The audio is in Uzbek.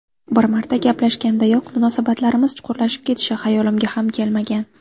Bir marta gaplashgandayoq munosabatlarimiz chuqurlashib ketishi xayolimga ham kelmagan.